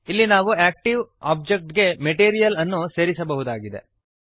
ಇಲ್ಲಿ ನಾವು active object ಗೆ ಮೆಟೀರಿಯಲ್ ಅನ್ನು ಸೇರಿಸಬಹುದಾಗಿದೆ